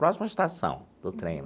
Próximo à estação do trem.